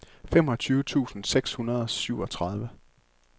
femogtyve tusind seks hundrede og syvogtredive